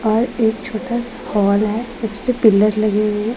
और एक छोटा सा हॉल है इसपे पिलर लगे हुए हैं।